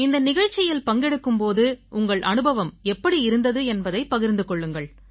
இந்த நிகழ்ச்சியில் பங்கெடுக்கும் போது உங்கள் அனுபவம் எப்படி இருந்தது என்பதைப் பகிர்ந்து கொள்ளுங்கள்